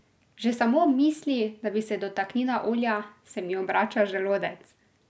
Že samo ob misli, da bi se dotaknila olja, se mi obrača želodec!